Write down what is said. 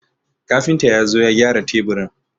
Kafinta ya zo ya gyara teburin.